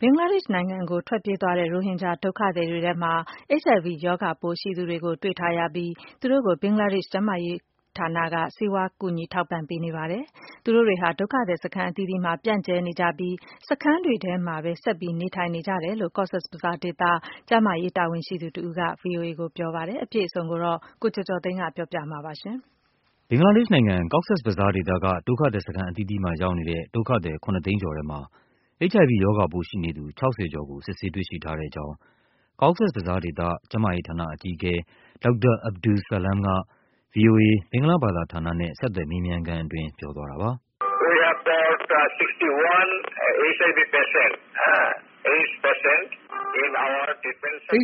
ဘင်္ဂလားဒေ့ရှ်နိုင်ငံကို ထွက်ပြေးသွားတဲ့ ရိုဟင်ဂျာဒုက္ခသည်တွေထဲမှာ HIV ရောဂါပိုးရှိနေသူတွေကို တွေ့ထားရပြီး သူတို့ကို ဘင်္ဂလားဒေ့ရှ် ကျန်းမာရေးဌာနက ဆေးဝါး ကူညီထောက်ပံ့ပေးနေပါတယ်။ သူတို့တွေဟာ ဒုက္ခသည်စခန်းအသီးသီးမှာ ပြန့်ကျဲနေကြပြီး စခန်းတွေထဲမှာပဲ ဆက်ပြီး နေထိုင်နေကြတယ်လို့ Cox’s Bazar ဒေသ ကျန်းမာရေးတာဝန်ရှိသူတဦးက ဗွီအိုအေ ကိုပြောပါတယ်။ အပြည့်အစုံကို ကိုကျော်ကျော်သိန်းက ပြောပြပါမယ်။ ဘင်္ဂလားဒေ့ရှ်နိုင်ငံ၊ Cox’s Bazar ဒေသက ဒုက္ခသည်စခန်းအသီးသီးမှာ ရောက်နေတဲ့ ဒုက္ခသည် ၇၀၀,၀၀၀ ကျော်ထဲမှာ HIV ရောဂါပိုးရှိနေသူ ၆၀ ကျော်ကို စစ်ဆေးတွေ့ရှိထားတဲ့အကြောင်း Cox’s Bazar ဒေသ၊ ကျန်းမာရေးဌာန အကြီးအကဲ ဒေါက်တာ Abdus Salam က ဗွီအိုအေ ဘင်္ဂလားဘာသာဌာနနဲ့ ဆက်သွယ်မေးမြန်းခန်းအတွင်း ပြောသွားတာပါ။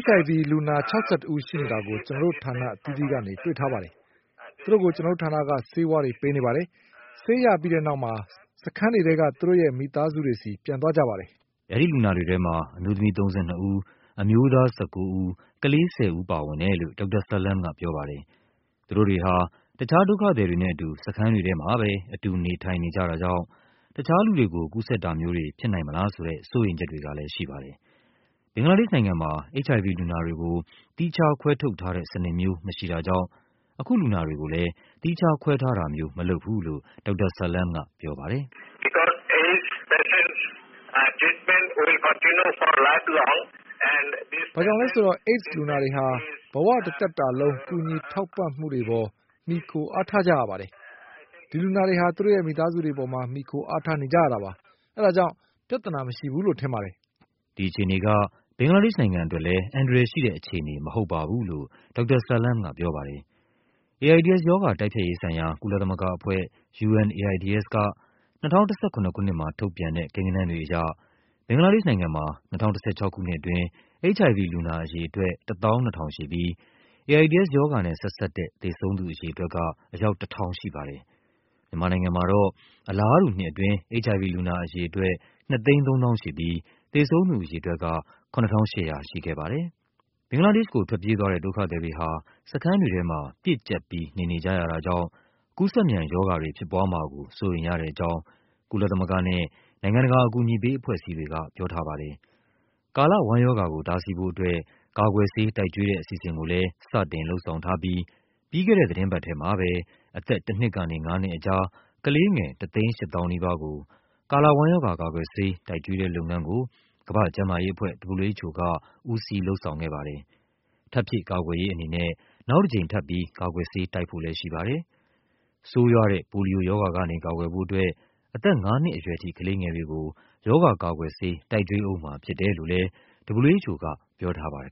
“HIV လူနာ ၆၁ ဦးရှိနေတာကို ကျနော်တို့ဌာနအသီးသီးကနေ တွေ့ထားပါတယ်။ သူတို့ကို ကျနော်တို့ဌာနက ဆေးဝါး ပေးနေပါတယ်။ ဆေးရပြီးတဲ့နောက် စခန်းတွေထဲက သူတို့မိသားစုတွေဆီ ပြန်သွားကြပါတယ်။” အဲဒီလူနာတွေထဲမှာ အမျိုးသမီး ၃၂ ဦး၊ အမျိုးသား ၁၉ ဦး၊ ကလေး ၁၀ ဦးပါဝင်တယ်လို့ ဒေါက်တာ Salam ကပြောပါတယ်။ သူတို့တွေဟာ တခြားဒုက္ခသည်တွေနဲ့အတူ စခန်းတွေထဲမှာပဲ အတူ နေထိုင်နေကြတာကြောင့် တခြားလူတွေကို ကူးစက်တာမျိုး တွေဖြစ်နိုင်မလားဆိုတဲ့ စိုးရိမ်ချက်တွေကလဲ ရှိပါတယ်။ ဘင်္ဂလားဒေ့ရှ်နိုင်ငံမှာ HIV လူနာတွေကို သီးခြားခွဲထုတ်ထားတဲ့စနစ်မျိုး မရှိတာကြောင့် အခုလူနာတွေကိုလဲ သီးခြားခွဲထားတာ မျိုးမလုပ်ဘူးလို့ ဒေါက်တာ Salam ကပြောပါတယ်။ “ဘာကြောင့်လဲဆိုတော့ AIDS လူနာတွေဟာ ဘဝတသက်တာလုံး ကူညီထောက်ပံ့မှုပေါ် မှီခို အားထားကြရပါတယ်။ ဒီလူနာတွေဟာ သူတို့ရဲ့ မိသားစုတွေပေါ် မှီခိုအားထားနေကြရတာပါ။ ဒါကြောင့် ပြဿနာမရှိဘူးလို့ ကျနော်ထင်ပါတယ်။” ဒီအခြေအနေက ဘင်္ဂလားဒေ့ရှ်နိုင်ငံအတွက်လဲ အန္တရာယ်ရှိတဲ့အခြေအနေ မဟုတ်ပါဘူးလို့ ဒေါက်တာ Salam ကပြောပါတယ်။ AIDS ရောဂါ တိုက်ဖျက်ရေးဆိုင်ရာ ကုလသမဂ္ဂအဖွဲ့ UNAIDS က ၂၀၁၇ ခုနှစ်မှာ ထုတ်ပြန်တဲ့ ကိန်းဂဏန်းတွေအရ ဘင်္ဂလား ဒေ့ရှ်နိုင်ငံမှာ ၂၀၁၆ ခုနှစ်အတွင်း HIV လူနာအရေအတွက် ၁၂,၀၀၀ ရှိပြီး AIDS ရောဂါနဲ့ဆက်စပ်တဲ့ သေဆုံးသူအရေအတွက် က အယောက် ၁,၀၀၀ ရှိပါတယ်။ မြန်မာနိုင်ငံမှာတော့ အလားတူနှစ်အတွင်း HIV လူနာအရေအတွက် ၂၃၀,၀၀၀ ရှိပြီး သေဆုံး သူအရေအတွက်က ၇,၈၀၀ ရှိခဲ့ပါတယ်။ ဘင်္ဂလားဒေ့ရှ်ကို ထွက်ပြေးသွားတဲ့ ဒုက္ခသည်တွေဟာ စခန်းတွေထဲမှာ ပြည့်ကျပ်ပြီး နေနေကြရတာကြောင့် ကူးစက်မြန်ရောဂါ တွေဖြစ်ပွားမှာကို စိုးရိမ်ရတဲ့အကြောင်း ကုလသမဂ္ဂနဲ့ နိုင်ငံတကာ အကူအညီပေးအဖွဲ့အစည်းတွေက ပြောထားပါတယ်။ ကာလဝမ်းရောဂါကို တားဆီးဖို့အတွက် ကာကွယ်ဆေး တိုက်ကျွေးတဲ့အစီအစဉ်ကိုလဲ စတင် လုပ်ဆောင်ထားပြီး ပြီးခဲ့တဲ့ သီတင်းပတ်ထဲမှာပဲ အသက် ၁ နှစ်ကနေ ၅ နှစ်ကြား ကလေးငယ် ၁၈၀,၀၀၀ နီးပါးကို ကာလဝမ်းရောဂါ ကာကွယ်ဆေး တိုက်ကျွေးတဲ့လုပ်ငန်းကို ကမ္ဘာ့ကျန်းမာရေးအဖွဲ့ WHO က ဦးစီး လုပ်ဆောင်ခဲ့ပါတယ်။ ထပ်ဖြည့်ကာကွယ်ရေးအနေနဲ့ နောက် တကြိမ်ထပ်ပြီး ကာကွယ်ဆေး တိုက်ဖို့လဲရှိပါတယ်။ ဆိုးရွားတဲ့ ပိုလီယိုရောဂါကနေ ကာကွယ်ဖို့အတွက် အသက်ငါးနှစ်အရွယ်ထိ ကလေးငယ်တွေကို ရောဂါကာကွယ်ဆေး တိုက်ကျွေးဦးမှာဖြစ်တယ်လို့လဲ WHO က ပြောထားပါတယ်